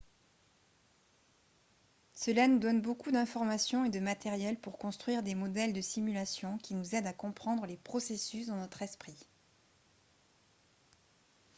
cela nous donne beaucoup d'informations et de matériel pour construire des modèles de simulation qui nous aident à comprendre les processus dans notre esprit